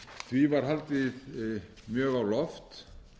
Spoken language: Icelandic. því var haldið mjög á loft